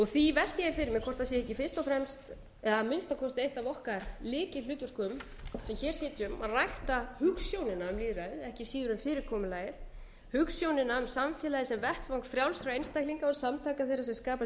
því velti ég fyrir mér hvort sé ekki fyrst og fremst eða að minnsta kosti eitt af okkar lykilhlutverkum sem hér xxxx að rækta hugsjónina um lýðræðið ekki síður en fyrirkomulagið hugsjónina um samfélagið sem vettvang frjálsra einstaklinga og samtaka þeirra sem skapa sér